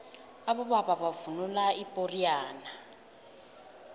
abobaba bavunula ipoxiyane